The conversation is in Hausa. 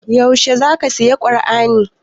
Yaushe za ka saya kur'ani?